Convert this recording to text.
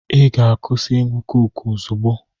Ị ga-akwụsị ịṅụ koku ozugbo!